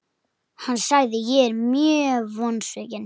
Hann sagði:, Ég er mjög vonsvikinn.